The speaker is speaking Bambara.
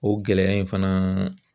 O gɛlɛya in fana